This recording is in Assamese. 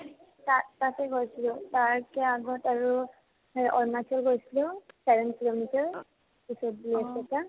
তাত তাতে গৈছিলো তাৰপৰা আগত আৰু এ অৰুণাচল গৈছিলো seven ত পঢ়োতে পিছত BA ৰ পৰা